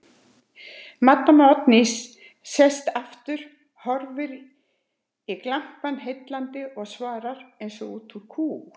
Maddama Oddný sest aftur, horfir í glampann heillandi og svarar eins og út úr kú